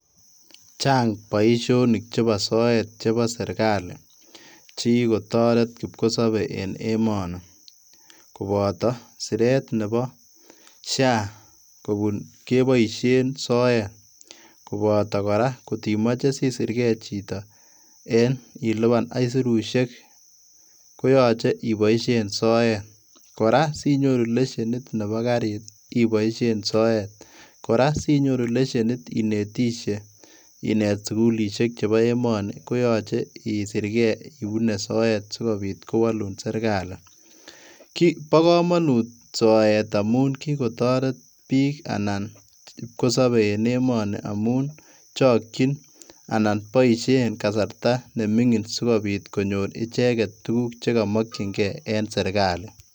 Chang boisionik chebo soet chebo serkali chekikotoret kipkosobe en emoni, koboto stretch nebo SHA keboisien soet, koboto koraa kotimoche sisirkee chito en ilipan aisirusiek koyoche iboisien soet ,koraa sinyoru lesienit nebo karit iboisien soet, koraa sinyoru lesienit inetishe inet sugulisiek chebo emoni koyoche isirkee ibune soet sikobit kowolun serkali, bokomonut soet amun kikotoret bik anan kipkosobee en emoni amun chokjin anan boisien kasarta nemingin sikobit konyor icheget tuguk chekomokjingee en serkali.